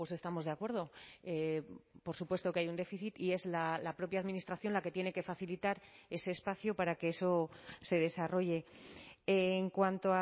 estamos de acuerdo por supuesto que hay un déficit y es la propia administración la que tiene que facilitar ese espacio para que eso se desarrolle en cuanto